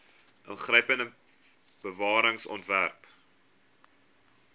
ingrypende bewaring ontwerp